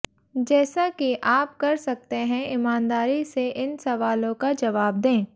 जैसा कि आप कर सकते हैं ईमानदारी से इन सवालों का जवाब दें